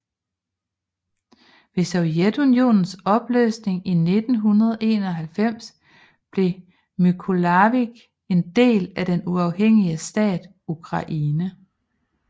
Ved Sovjetunionens opløsning i 1991 blev Mykolajiv en del af den uafhængige stat Ukraine